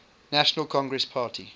national congress party